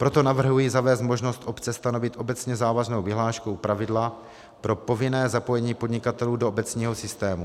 Proto navrhuji zavést možnost obce stanovit obecně závaznou vyhláškou pravidla pro povinné zapojení podnikatelů do obecního systému.